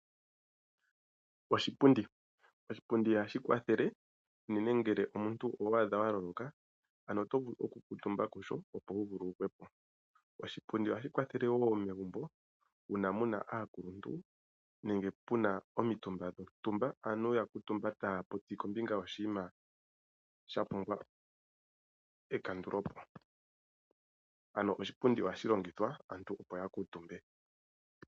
Oshipundi. Oshipundi ohashi kwathele unene ngele omuntu owi iyadha wa vulwa oto vulu oku kuutumba kusho opo wu vululukwepo .Oshipundi ohashi kwathele woo megumbo uuna muna aakuluntu nenge pena omitumba dhontumba aantu ya kuutumba taya popi kombinga yoshinima shapumbwa okukandulwapo ano oshipundi ohashi longithwa aantu opo ya kuutumbe.